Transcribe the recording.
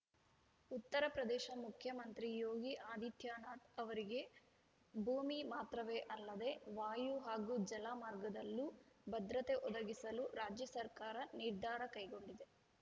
ಉತ್ತರಪ್ರದೇಶ ಮುಖ್ಯಮಂತ್ರಿ ಯೋಗಿ ಆದಿತ್ಯನಾಥ್‌ ಅವರಿಗೆ ಭೂಮಿ ಮಾತ್ರವೇ ಅಲ್ಲದೆ ವಾಯು ಹಾಗೂ ಜಲ ಮಾರ್ಗದಲ್ಲೂ ಭದ್ರತೆ ಒದಗಿಸಲು ರಾಜ್ಯ ಸರ್ಕಾರ ನಿರ್ಧಾರ ಕೈಗೊಂಡಿದೆ